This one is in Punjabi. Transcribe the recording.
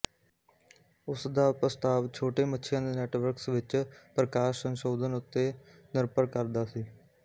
ਉਸ ਦਾ ਪ੍ਰਸਤਾਵ ਛੋਟੇ ਮੱਛੀਆਂ ਦੇ ਨੈਟਵਰਕਸ ਵਿੱਚ ਪ੍ਰਕਾਸ਼ ਸੰਸ਼ੋਧਨ ਉੱਤੇ ਨਿਰਭਰ ਕਰਦਾ ਸੀ